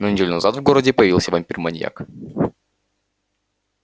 но неделю назад в городе появился вампир-маньяк